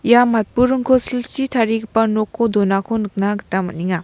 ia matburingko silchi tarigipa noko donako nikna gita man·enga.